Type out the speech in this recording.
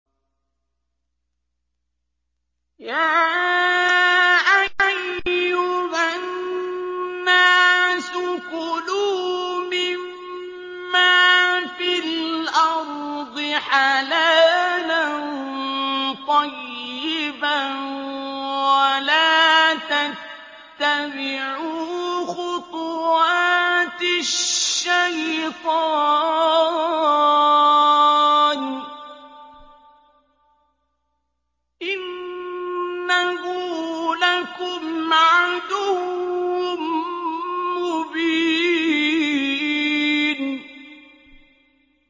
يَا أَيُّهَا النَّاسُ كُلُوا مِمَّا فِي الْأَرْضِ حَلَالًا طَيِّبًا وَلَا تَتَّبِعُوا خُطُوَاتِ الشَّيْطَانِ ۚ إِنَّهُ لَكُمْ عَدُوٌّ مُّبِينٌ